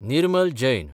Nirmal Jain